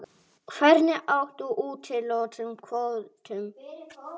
Hvernig átti að úthluta kvótum?